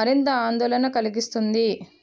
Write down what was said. మరింత ఆందోళన కలిగిస్తుంది